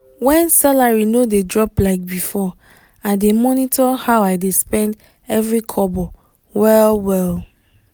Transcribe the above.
when salary no dey drop like before i dey monitor how i dey spend every kobo well-well.